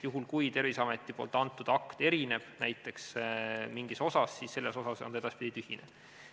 Juhul, kui Terviseameti antud akt erineb näiteks mingis osas, siis selles osas on ta edaspidi tühine.